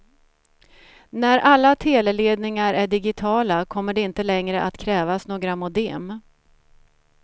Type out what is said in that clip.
När alla teleledningar är digitala kommer det inte längre att krävas några modem.